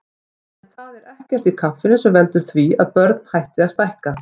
En það er ekkert í kaffinu sem veldur því að börn hætti að stækka.